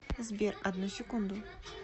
сбер одну секунду